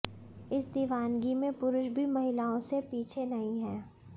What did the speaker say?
इस दीवानगी में पुरुष भी महिलाओं से पीछे नहीं है